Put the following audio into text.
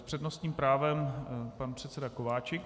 S přednostním právem pan předseda Kováčik.